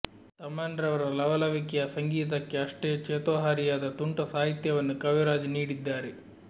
ತಮನ್ ರವರ ಲವಲವಿಕೆಯ ಸಂಗೀತಕ್ಕೆ ಅಷ್ಟೇ ಚೇತೋಹಾರಿಯಾದ ತುಂಟ ಸಾಹಿತ್ಯವನ್ನು ಕವಿರಾಜ್ ನೀಡಿದ್ದಾರೆ